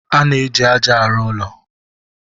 A na-eji ájá arụ ụlọ.